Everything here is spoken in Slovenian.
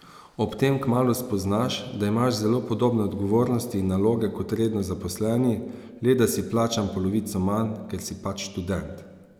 Ob tem kmalu spoznaš, da imaš zelo podobne odgovornosti in naloge kot redno zaposleni, le da si plačan polovico manj, ker si pač študent.